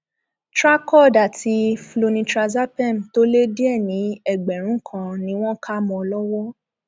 tra cod àti flunitrazepam tó lé díẹ ní ẹgbẹrún kan ni wọn kà mọ ọn lọwọ